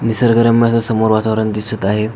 निसर्गरम्य अस समोर वातावरण दिसत आहे.